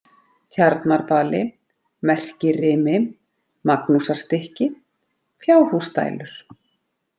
Tjarnarbali, Merkirimi, Magnúsarstykki, Fjárhúsdælur